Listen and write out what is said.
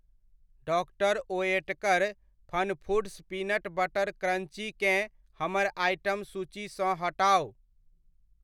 Doctor Oetker FunFoods peanut butter crunchy केँ हमर आइटम सूचीसँ हटाउ।